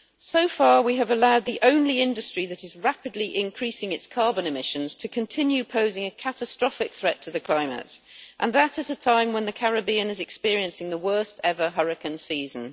So far, we have allowed the only industry that is rapidly increasing its carbon emissions to continue posing a catastrophic threat to the climate and that at a time when the Caribbean is experiencing the worst ever hurricane season.